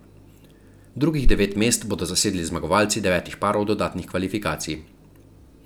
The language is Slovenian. Drugih devet mest bodo zasedli zmagovalci devetih parov dodatnih kvalifikacij.